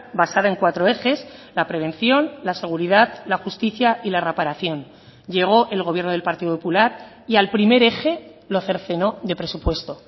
basada en cuatro ejes la prevención la seguridad la justicia y la reparación llegó el gobierno del partido popular y al primer eje lo cercenó de presupuesto